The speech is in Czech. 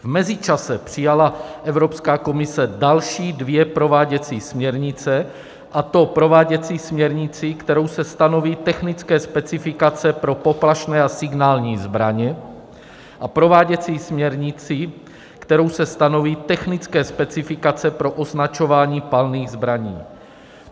V mezičase přijala Evropská komise další dvě prováděcí směrnice, a to prováděcí směrnici, kterou se stanoví technické specifikace pro poplašné a signální zbraně, a prováděcí směrnici, kterou se stanoví technické specifikace pro označování palných zbraní.